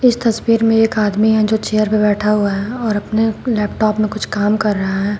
तस्वीर में एक आदमी है जो चेयर पे बैठा हुआ है और अपने लैपटॉप में कुछ काम कर रहा है।